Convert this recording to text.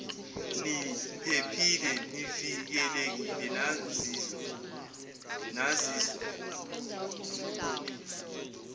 niphephile nivikelekile naziswa